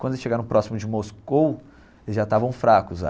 Quando eles chegaram próximo de Moscou, eles já estavam fracos.